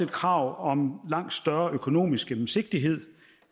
krav om langt større økonomisk gennemsigtighed